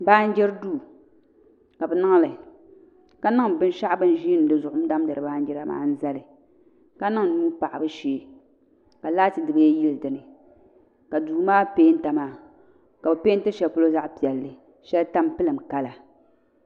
Baanjiri duu ka bi niŋli ka niŋ binshaɣu zuɣu bi ni ʒiindi n damgiri baanjira maa n zali ka niŋ nuu paɣabu shee ka laati dibayi yili dinni ka duu maa peenta maa ka bi peenti shɛli polo zaɣ piɛlli shɛli tampilim kala